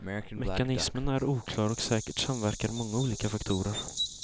Mekanismen är oklar och säkert samverkar många olika faktorer.